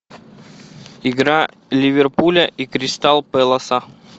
игра ливерпуля и кристал пэласа